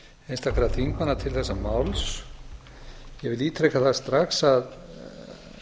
einstakra þingmanna til þessa máls ég vil ítreka það strax að